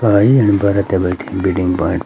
बरतिया बइठिन bedding point --